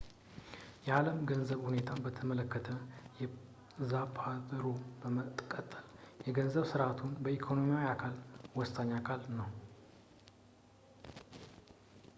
የዓለም የገንዘብ ሁኔታን በተመለከተ ዛፓቴሮ በመቀጠል የገንዘብ ሥርዓቱ የኢኮኖሚው አካል ወሳኝ አካል ነው